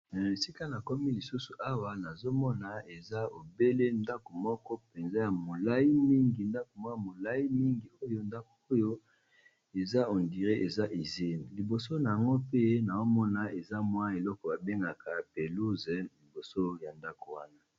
Na esika na komi lisusu awa nazomona eza obele ndako moko mpenza ya molai mingi ndako moko ya molai mingi, oyo ndako oyo eza hondiré eza isine liboso na ngo pe na zomona eza mwa eloko babengaka pelouze liboso ya ndako wana.